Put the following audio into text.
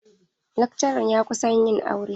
Lakcaran ya kusan yin aure.